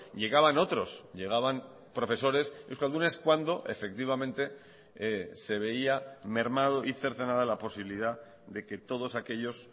llegaban otros llegaban profesores euskaldunes cuando efectivamente se veía mermado y cercenada la posibilidad de que todos aquellos